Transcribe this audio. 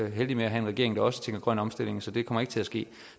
heldige med at have en regering der også tænker grøn omstilling så det kommer ikke til at ske